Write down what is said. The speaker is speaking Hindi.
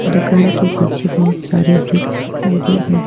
दुकान के पीछे बहुत सारे वृक्ष दिखाई दे रहे है.